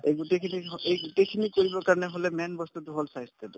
এই গোটেইখিনি এই গোটেইখিনি কৰিবৰ কাৰণে হলে main বস্তুতো হল স্ৱাস্থ্যতো